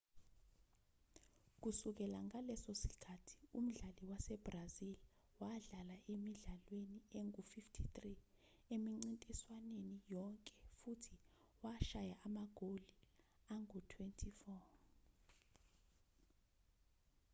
kusukela ngaleso sikhathi umdlali wasebrazil wadlala emidlalweni engu-53 emincintiswaneni yonke futhi washaya amagoli angu-24